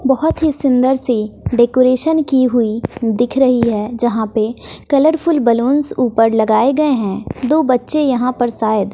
बहोत ही सुंदर सी डेकोरेशन की हुई दिख रही है जहां पे कलरफुल बलूंस ऊपर लगाए गए हैं दो बच्चे यहां पर